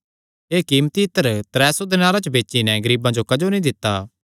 एह़ कीमती इत्तर त्रै सौ दीनार च बेची नैं गरीबां जो क्जो नीं दित्ता